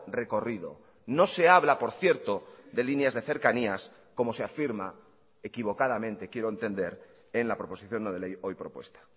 recorrido no se habla por cierto de líneas de cercanías como se afirma equivocadamente quiero entender en la proposición no de ley hoy propuesta